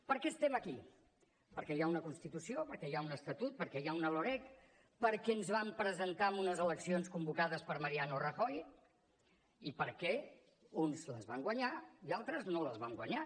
per què estem aquí perquè hi ha una constitució perquè hi ha un estatut una loreg perquè ens vam presentar a unes eleccions convocades per mariano rajoy i perquè uns les van guanyar i altres no les van guanyar